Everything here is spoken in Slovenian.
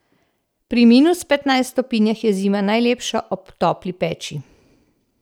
Pri minus petnajst stopinjah je zima najlepša ob topli peči.